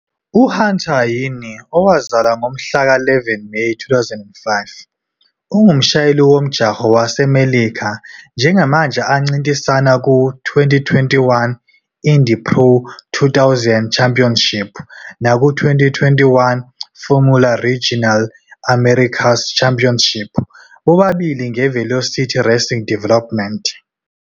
UHunter Yeany, owazalwa ngomhla ka-11 Meyi 2005, ungumshayeli womjaho waseMelika njengamanje ancintisana ku-2021 Indy Pro 2000 Championship naku-2021 Formula Regional Americas Championship bobabili ngeVelocity Racing Development.